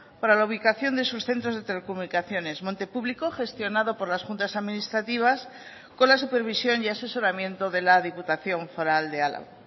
para la ubicación de sus centros de telecomunicaciones monte publico gestionado por las juntas administrativas con la supervisión y asesoramiento de la diputación foral de álava